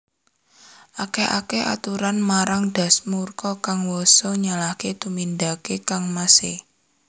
Akèh akèh aturé marang Dasamuka kang wosé nyalahaké tumindaké kangmasé